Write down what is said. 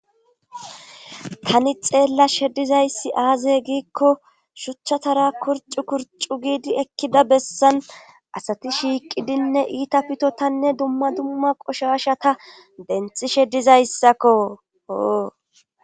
tani xeellashe dizayssi aazey giikko shuchatara kurcu kurcu giidi ekkida bessan asati shiiqidinne iita pitotanne dumma dumma qoshasha ta denxi shedizayssakko oo